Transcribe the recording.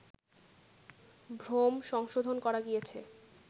ভ্রম সংশোধন করা গিয়াছে